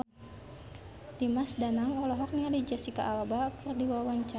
Dimas Danang olohok ningali Jesicca Alba keur diwawancara